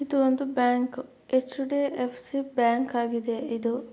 ಇದು ಒಂದು bank . HDFC. Bank ಆಗಿದೆ ಇದು.